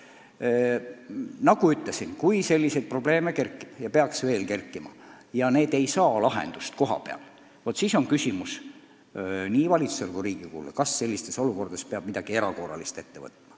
Ning nagu ma ütlesin, kui selliseid probleeme kerkib ja need ei saa lahendust kohapeal, siis tähendab see nii valitsusele kui Riigikogule küsimust, kas sellistes olukordades peab midagi erakorralist ette võtma.